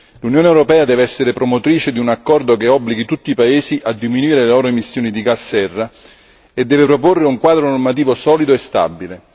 L'Unione europea deve essere promotrice di un accordo che obblighi tutti i paesi a diminuire le loro emissioni di gas serra e deve proporre un quadro normativo solido e stabile.